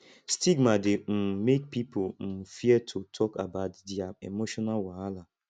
stigma dey um mek pipo um fear to tok about dia emotional wahala